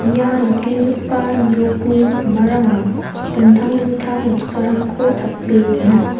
ia nikenggipa nokni pakmarango dingtang dingtang noksarangko tape dona.